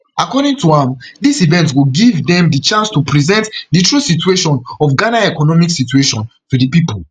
according to am dis event go give dem di chance to present di true situation of ghana economic situation to di pipo